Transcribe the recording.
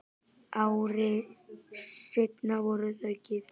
Ári seinna voru þau gift.